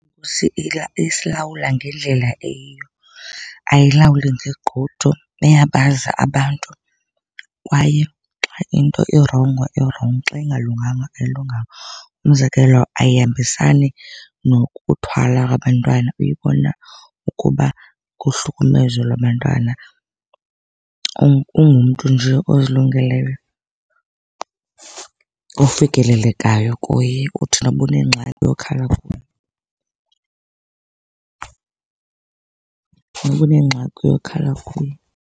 Isilawula ngendlela eyiyo, ayilawuli ngegqudu, iyabazi abantu kwaye xa into irongo, irongo. Xa ingalunganga, ayilunganga. Umzekelo, ayihambisani nokuthwala kwabantwana. Uyibona ukuba kuhlukumezo lwabantwana. Ungumntu nje ozilungileyo, ofikelelekayo kuye. Uthi noba unengxaki uyokhala kuye, noba unengxaki uyokhala kuye.